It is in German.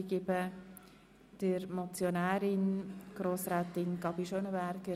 Ich gebe der Motionärin das Wort.